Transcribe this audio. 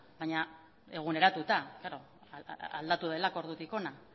baina eguneratuta aldatu delako ordutik hona